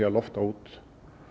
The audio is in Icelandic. að lofta út